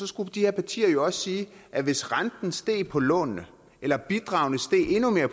skulle de her partier jo også sige at hvis renten steg på lånene eller bidragene